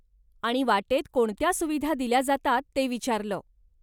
आणि वाटेत कोणत्या सुविधा दिल्या जातात ते विचारलं.